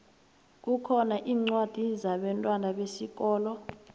kukhona incwadi zabentwana besikolo